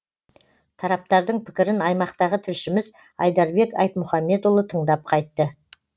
тараптардың пікірін аймақтағы тілшіміз айдарбек айтмұхамбетұлы тыңдап қайтты